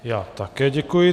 Já také děkuji.